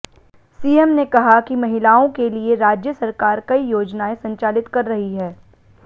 CM ने कहा कि महिलाओं के लिए राज्य सरकार कई योजनाएं संचालित कर रही है